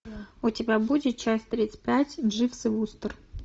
у тебя будет часть тридцать пять дживс и вустер